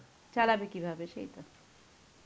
চালাবে কিভাবে, সেই তো.